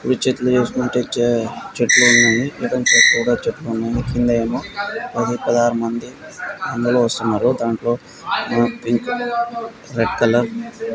ఇవి చెట్టు చూసుకున్నట్లయితే చెట్లు ఉన్నాయి. కింద ఏమో పది పదహారు మంది అందులో వస్తున్నారు. దాంట్లో రెడ్ కలర్ --